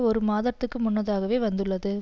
ஒரு மாதத்திற்கு முன்னதாக வந்துள்ளது